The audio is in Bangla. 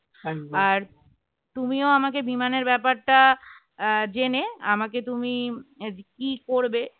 তুমিও আমাকে বিমানের ব্যাপারটা আহ জেনে আমাকে তুমি কি করবে